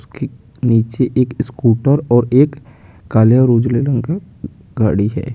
उसके नीचे एक स्कूटर और एक काले और उज्ले रंग का गाड़ी है।